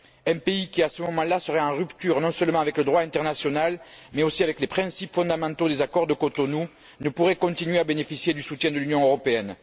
Un pays qui, à ce moment là, serait en rupture non seulement avec le droit international, mais aussi avec les principes fondamentaux des accords de Cotonou, ne pourrait continuer à bénéficier du soutien de l'Union européenne.